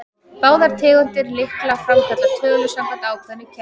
Báðar tegundir lykla framkalla tölur samkvæmt ákveðnu kerfi.